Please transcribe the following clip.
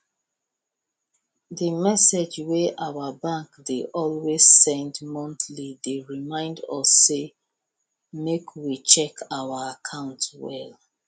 the message wey our bank dey always send monthly dey remind us say make we check our account well